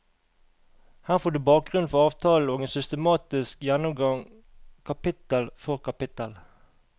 Her får du bakgrunnen for avtalen og en systematisk gjennomgang kapitel for kapitel.